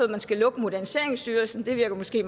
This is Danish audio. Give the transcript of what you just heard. man skal lukke moderniseringsstyrelsen det virker måske